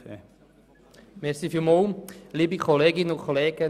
Nochmals zu den Kleinstbeiträgen.